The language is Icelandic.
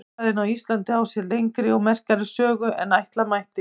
Þjóðfræði á Íslandi á sér lengri og merkari sögu en ætla mætti.